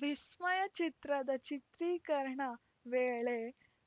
ವಿಸ್ಮಯ ಚಿತ್ರದ ಚಿತ್ರೀಕರಣ ವೇಳೆ